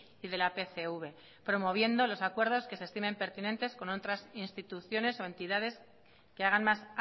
y de la pcv promoviendo los acuerdos que se estimen pertinentes con otras instituciones o entidades que hagan más